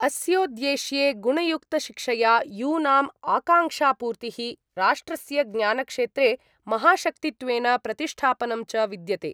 अस्योद्देश्ये गुणयुक्तशिक्षया यूनाम् आकाङ्क्षापूर्तिः, राष्ट्रस्य ज्ञानक्षेत्रे महाशक्तित्वेन प्रतिष्ठापनं च विद्यते।